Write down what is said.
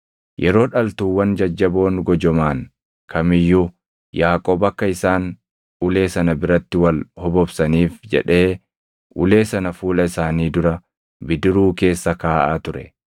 Yeroo dhaltuuwwan jajjaboon gojomaʼan kam iyyuu, Yaaqoob akka isaan ulee sana biratti wal hobobsaniif jedhee ulee sana fuula isaanii dura bidiruu keessa kaaʼaa ture;